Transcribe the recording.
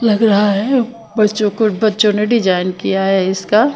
लग रहा है बच्चों को बच्चों ने डिज़ाइन किया है इसका--